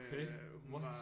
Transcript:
Okay what